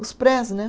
Os prés, né?